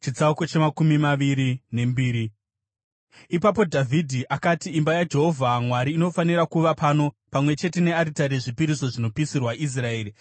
Ipapo Dhavhidhi akati, “Imba yaJehovha Mwari inofanira kuva pano, pamwe chete nearitari yezvipiriso zvinopisirwa Israeri.”